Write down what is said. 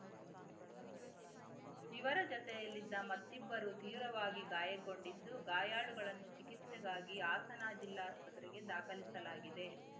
ಇವರ ಜತೆಯಲ್ಲಿದ್ದ ಮತ್ತಿಬ್ಬರು ತೀವ್ರವಾಗಿ ಗಾಯಗೊಂಡಿದ್ದು ಗಾಯಾಳುಗಳನ್ನು ಚಿಕಿಸ್ತೆಗಾಗಿ ಹಾಸನ ಜಿಲ್ಲಾಸ್ಪತ್ರೆಗೆ ದಾಖಲಿಸಲಾಗಿದೆ